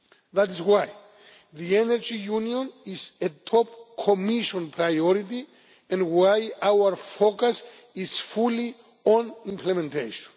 That is why the Energy Union is a top Commission priority and why our focus is fully on implementation.